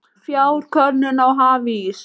Fjarkönnun á hafís